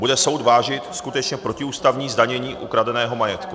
Bude soud vážit skutečně protiústavní zdanění ukradeného majetku.